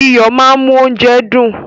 Iyo máa ń mú óúnjẹ dùn.